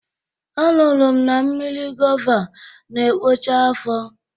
A nụrụ m na mmiri gova n'ekpocha afo